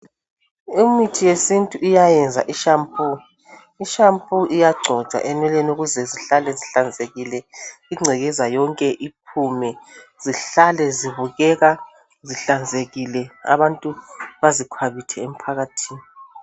Imithi yesintu iyayenza ishampoo, ishampoo iyagcotshwa enweleni ukuze zihlale zihlanzekile igcekeza yonke iphume zihlale zibukeka zihlanzekile abantu bazikhwabithe emphakathini.